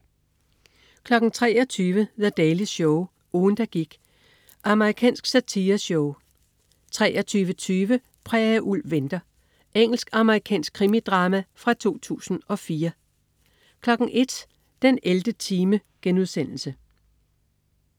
23.00 The Daily Show. Ugen der gik. Amerikansk satireshow 23.20 Prærieulv venter. Engelsk-amerikansk krimidrama fra 2004 01.00 den 11. time*